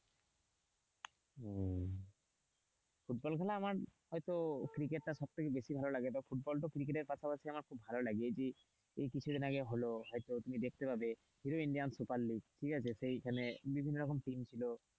Football খেলা আমার হয়তো ক্রিকেট টা হয়তো সবথেকে বেশি ভালো লাগে ফুটবলটাও ক্রিকেটার পাশাপাশি আমার খুব ভালো লাগে যে এই কিছুদিন আগে হল হয়তো তুমি দেখতে পাবে সুপারলিগ ঠিক আছে সেইখানে বিভিন্ন রকম টিম ছিল.